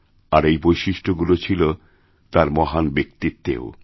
আর এই বৈশিষ্ট্যগুলি ছিল তাঁর মহান ব্যক্তিত্বেও